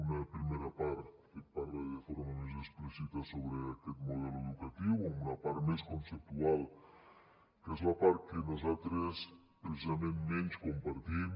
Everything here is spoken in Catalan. una primera part que parla de forma més explícita sobre aquest model educatiu amb una part més conceptual que és la part que nosaltres precisament menys compartim